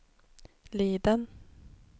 Liden